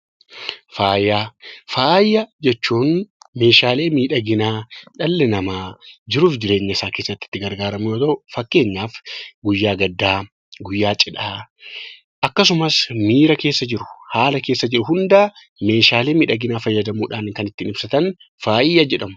Faayaa Faaya jechuun Meeshaalee miidhaginaa dhalli namaa jiruu fi jireenya isaa keessatti itti gargaaramu yoo ta'u, fakkeenyaaf guyyaa gaddaa, guyyaa cidhaa, akkasumas miira keessa jirru, haala keessa jirru hunda Meeshaalee miidhaginaa fayyadamuun kan ittiin ibsatan faaya jedhamu.